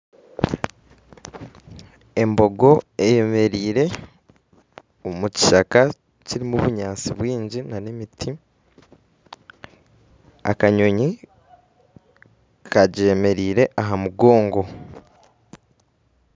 Embogo eyemereire omu kishaka kirumu ebinyansi byingi n'emiti akanyonyi kagyemereire aha mugongo